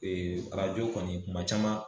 arajo kɔni kuma caman